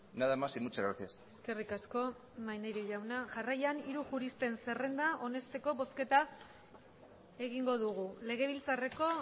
nada más y muchas gracias eskerrik asko maneiro jauna jarraian hiru juristen zerrenda onesteko bozketa egingo dugu legebiltzarreko